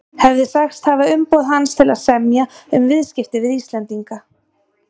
hefði sagst hafa umboð hans til að semja um viðskipti við Íslendinga.